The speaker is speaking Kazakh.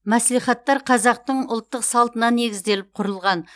мәслихаттар қазақтың ұлттық салтына негізделіп құрылған